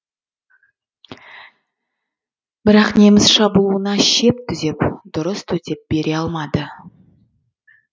бірақ неміс шабуылына шеп түзеп дұрыс төтеп бере алмады